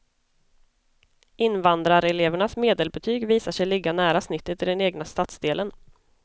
Invandrarelevernas medelbetyg visar sig ligga nära snittet i den egna stadsdelen.